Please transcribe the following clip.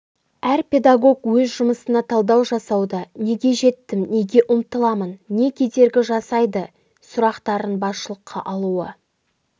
әр педагог өз жұмысына талдау жасауда неге жеттім неге ұмтыламын не кедергі жасайды сұрақтарын басшылыққа алуы